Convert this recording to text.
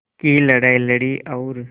की लड़ाई लड़ी और